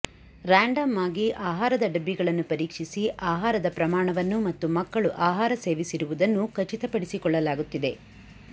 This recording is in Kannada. ರ್ಯಾಂಡಮ್ ಆಗಿ ಆಹಾರದ ಡಬ್ಬಿಗಳನ್ನು ಪರೀಕ್ಷಿಸಿ ಆಹಾರದ ಪ್ರಮಾಣವನ್ನು ಮತ್ತು ಮಕ್ಕಳು ಆಹಾರ ಸೇವಿಸಿರುವುದನ್ನೂ ಖಚಿತಪಡಿಸಿಕೊಳ್ಳಲಾಗುತ್ತಿದೆ